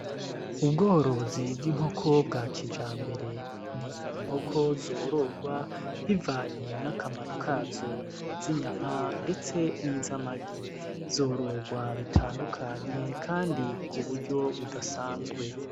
Ubworozi bw'inkoko bwa kija mbere ni inkoko zororwa bivanye n'akamaro kazo izinyama, ndetse n'izamagi zororwa bitandukanye, kandi ku buryo budasanzwe.